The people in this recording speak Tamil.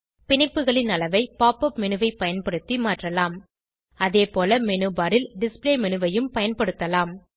பிணைப்புகளின் அளவை pop உப் மேனு ஐ பயன்படுத்தி மாற்றலாம் அதேபோல மேனு பார் ல் டிஸ்ப்ளே மேனு ஐயும் பயன்படுத்தலாம்